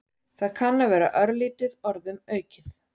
Það kann að vera örlítið orðum aukið.